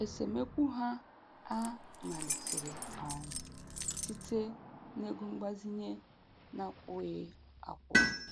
Esemokwu ha a malitere um site n'ego mgbazinye na-akwụghị akwụ.